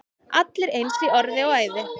Allir eins í orði og æði.